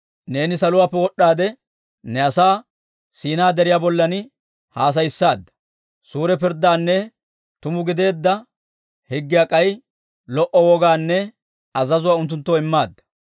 «Neeni saluwaappe wod'd'aade, ne asaa Siinaa Deriyaa bollan haasayissaadda. Suure pirddaanne tuma gideedda higgiyaa k'ay lo"o wogaanne azazuwaa unttunttoo immaadda.